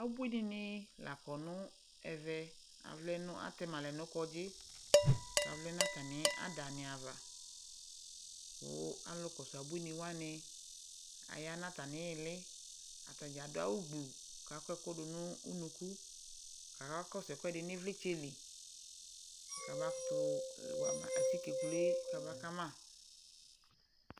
Abuini la kɔ nʋ ɛvɛ Avlɛ nʋ, atɛma lɛ nʋ kɔndzi kavlɛ nʋ atami ada ni ava kʋ alʋ kɔsʋ abuini wani aya nʋ atami ili Atadza adʋ awʋ gblu kʋ akɔ ɛkʋ dʋ nʋ unuku, kakakɔsʋ ɛkuɛdi nʋ ivlitsɛ li kabakʋtʋ wa ma atike kulu e kabaka ma